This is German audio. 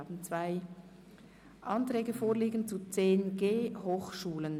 Wir haben zwei Anträge vorliegen zu 10.g Hochschulen.